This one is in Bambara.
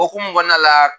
Okumu kɔnɔna la